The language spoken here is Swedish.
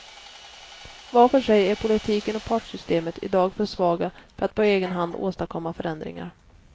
Var för sig är politiken och partssystemet i dag för svaga för att på egen hand åstadkomma förändringar.